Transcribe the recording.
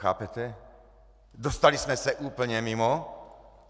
Chápete, dostali jsme se úplně mimo.